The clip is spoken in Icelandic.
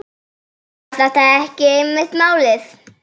Var þetta ekki einmitt málið?